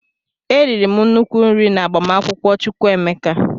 E riri m nnukwu nri na agbamakwụkwọ Chukwu emeka.